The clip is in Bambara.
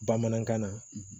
Bamanankan na